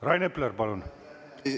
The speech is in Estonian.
Rain Epler, palun!